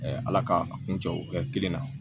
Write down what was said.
ala k'a kun cɛ o kɛ kelen na